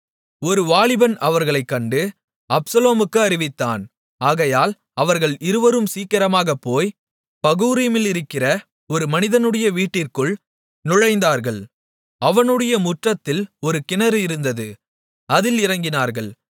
ஒரு வாலிபன் அவர்களைக் கண்டு அப்சலோமுக்கு அறிவித்தான் ஆகையால் அவர்கள் இருவரும் சீக்கிரமாகப் போய் பகூரிமிலிருக்கிற ஒரு மனிதனுடைய வீட்டிற்குள் நுழைந்தார்கள் அவனுடைய முற்றத்தில் ஒரு கிணறு இருந்தது அதில் இறங்கினார்கள்